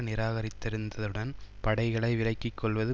நிராகரித்திருந்ததுடன் படைகளை விலக்கி கொள்வது